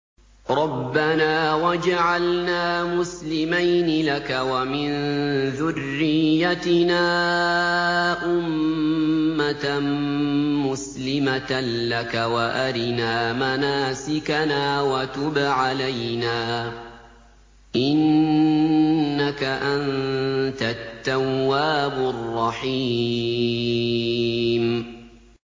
رَبَّنَا وَاجْعَلْنَا مُسْلِمَيْنِ لَكَ وَمِن ذُرِّيَّتِنَا أُمَّةً مُّسْلِمَةً لَّكَ وَأَرِنَا مَنَاسِكَنَا وَتُبْ عَلَيْنَا ۖ إِنَّكَ أَنتَ التَّوَّابُ الرَّحِيمُ